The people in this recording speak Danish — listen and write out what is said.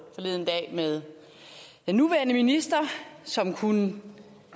med den nuværende minister som kunne